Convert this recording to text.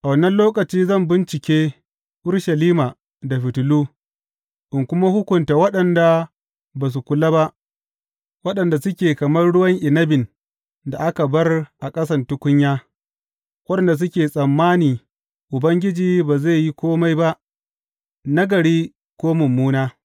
A wannan lokaci zan bincike Urushalima da fitilu in kuma hukunta waɗanda ba su kula ba, waɗanda suke kamar ruwan inabin da aka bar a ƙasan tukunya, waɗanda suke tsammani, Ubangiji ba zai yi kome ba nagari ko mummuna.’